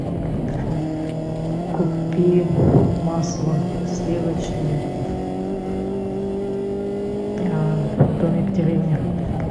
купи масло сливочное домик в деревне